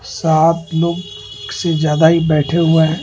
सात लोग से ज्यादा ही बैठे हुए हैं।